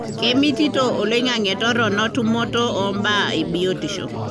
kemitito oloingange torono tumoto ombaa ebiotisho.